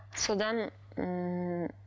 содан ммм